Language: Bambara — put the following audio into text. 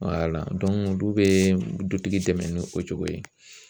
olu bɛ dutigi dɛmɛ ni o cogo ye